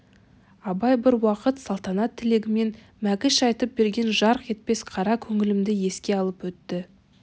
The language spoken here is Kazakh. абай бір уақыт салтанат тілегімен мәкіш айтып берген жарқ етпес қара көңілімді еске алып өтті